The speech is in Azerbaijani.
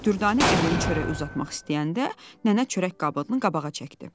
Dürdanə əlinin çörəyi uzatmaq istəyəndə nənə çörək qabını qabağa çəkdi.